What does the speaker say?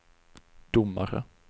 domare